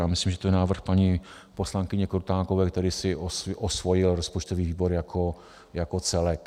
Já myslím, že to je návrh paní poslankyně Krutákové, který si osvojil rozpočtový výbor jako celek.